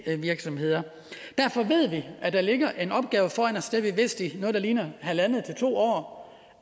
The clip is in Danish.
virksomheder derfor ved vi at der ligger en opgave foran os det har vi vidst i noget der ligner halvandet til to år